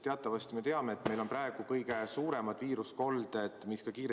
Teatavasti me teame, et meil on praegu kõige suuremad viirusekolded just koolides.